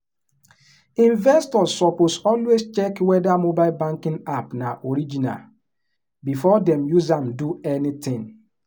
investors suppose always check whether mobile banking app na original before dem use am do anything.